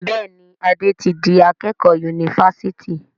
Béèni Ade tí dì akékò Yunifásitì.